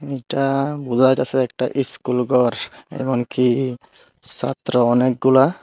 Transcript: এটা বোজা যাইতাছে একটা ইস্কুল গর এমনকি সাত্র অনেকগুলা।